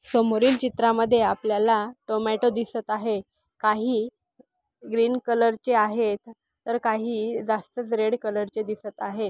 समोरील चित्रामध्ये आपल्याला टोमॅटो दिसत आहे. काही ग्रीन कलर चे आहे तर काही जास्त रेड कलर ची दिसत आहे.